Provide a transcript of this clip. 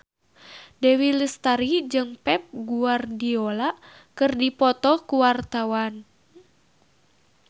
Dewi Lestari jeung Pep Guardiola keur dipoto ku wartawan